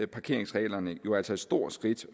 parkeringsreglerne jo altså et stort skridt